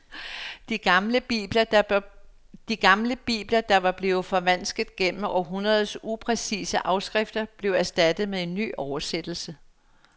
De gamle bibler, der var blevet forvansket gennem århundreders upræcise afskrifter, blev erstattet med en ny oversættelse.